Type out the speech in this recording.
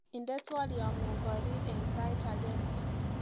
Indenee twoloitngu korire eng sait agenge